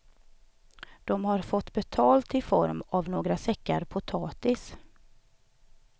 De har fått betalt i form av några säckar potatis.